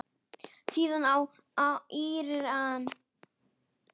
Síðast í Íran.